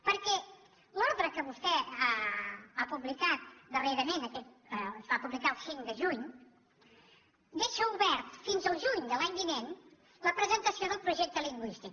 perquè l’ordre que vostè ha publicat darrerament es va publicar el cinc de juny deixa obert fins al juny de l’any vinent la presentació del projecte lingüístic